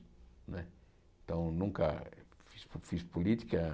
Né então, nunca fiz fiz política.